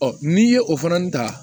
n'i ye o fana ta